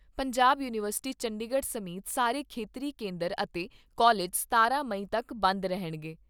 Punjab university Chandigarh ਸਮੇਤ ਸਾਰੇ ਖੇਤਰੀ ਕੇਂਦਰ ਅਤੇ ਕਾਲਜ ਸਤਾਰਾਂ ਮਈ ਤੱਕ ਬੰਦ ਰਹਿਣਗੇ।